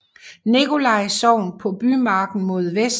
Nikolaj Sogn på bymarken mod vest